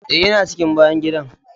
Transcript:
Eh, ina cikin bayan gidan.